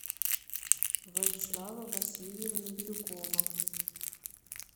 владислава васильевна бирюкова